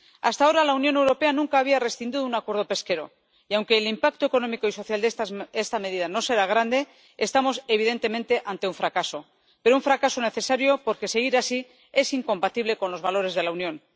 Hasta ahora, la Unión Europea nunca había rescindido un acuerdo pesquero y, aunque el impacto económico y social de esta medida no será grande, estamos evidentemente ante un fracaso, pero un fracaso necesario, porque seguir así es incompatible con los valores de la Unión.